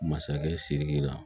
Masakɛ sidiki la